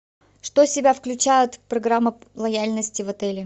что в себя включает программа лояльности в отеле